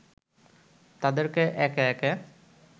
তাদেরকে একে একে